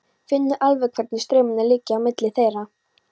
Finnur alveg hvernig straumarnir liggja á milli þeirra.